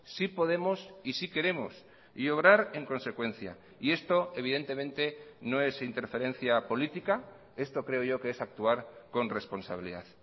sí podemos y sí queremos y obrar en consecuencia y esto evidentemente no es interferencia política esto creo yo que es actuar con responsabilidad